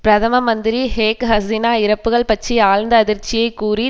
பிரதம மந்திரி ஷேக் ஹசினா இறப்புக்கள் பற்றி ஆழ்ந்த அதிர்ச்சியை கூறி